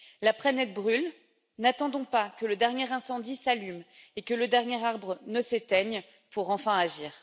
La planète brûle, n'attendons pas que le dernier incendie s'allume et que le dernier arbre ne s'éteigne pour enfin agir.